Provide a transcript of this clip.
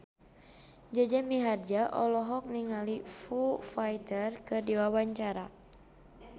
Jaja Mihardja olohok ningali Foo Fighter keur diwawancara